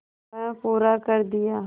वह पूरा कर दिया